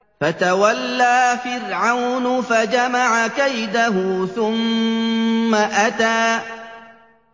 فَتَوَلَّىٰ فِرْعَوْنُ فَجَمَعَ كَيْدَهُ ثُمَّ أَتَىٰ